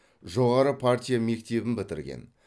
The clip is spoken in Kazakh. жоғары партия мектебін бітірген